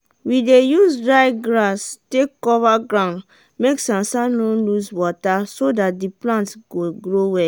we dey use dry grass take cover ground make sansan no lose wata so dat de plant go grow well.